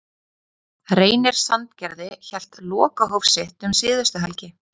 Reynir Sandgerði hélt lokahóf sitt um síðustu helgi.